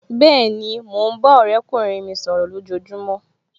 Bẹ́ẹ̀ni, mo ń bá ọ̀rẹ́kùnrin mi sọ̀rọ̀ lojojumo